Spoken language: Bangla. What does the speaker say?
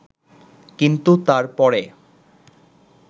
কিন্তু তারপরে